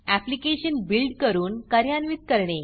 application build करून कार्यान्वित करणे